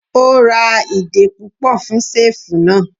O ra ìdè púpọ̀ fún ṣẹ́ẹ̀fù náà.